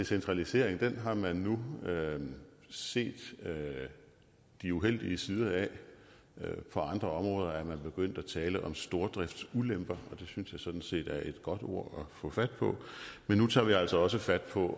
centralisering har man nu set de uheldige sider af på andre områder er man begyndt at tale om stordriftsulemper og det synes jeg sådan set er et godt ord men nu tager vi altså også fat på